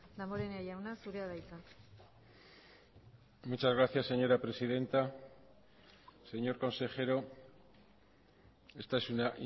damborenea jauna zurea da hitza muchas gracias señora presidenta señor consejero esta es una